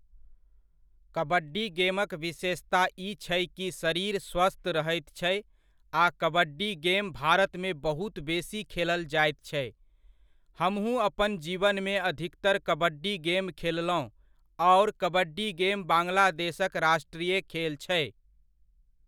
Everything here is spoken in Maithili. कबड्डी गेमक विशेषता ई छै कि शरीर स्वस्थ्य रहैत छै आ कबड्डी गेम भारतमे बहुत बेसी खेलल जाइत छै, हमहुँ अपन जीवनमे अधिकतर कबड्डी गेम खेललहुँ आओर कबड्डी गेम बांग्लादेशक राष्ट्रीय खेल छै।